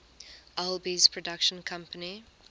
alby's production company